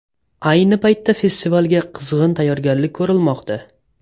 Ayni paytda festivalga qizg‘in tayyorgarlik ko‘rilmoqda.